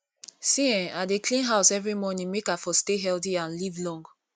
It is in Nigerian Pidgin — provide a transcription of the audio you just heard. see[um]i dey clean house every morning make i for stay healthy and live long